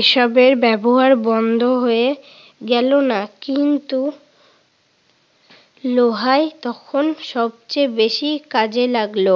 এসবের ব্যবহার বন্ধ হয়ে গেল না কিন্তু লোহাই তখন সবচেয়ে বেশি কাজে লাগল।